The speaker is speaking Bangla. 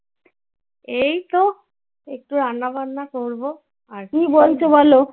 এই তো একটু রান্না বান্না করবো।